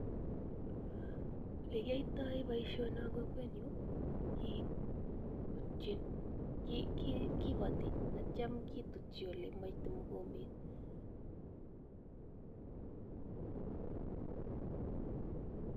Elekiyoito boishonon en kokwenyun kiboti akitio kitutyi elemoite mokombet.